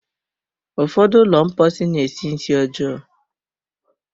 Ụfọdụ ụlọ mposi na-esi nsị ọjọọ.